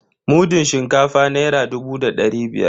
Mudun shinkafa naira dubu da dari biyar.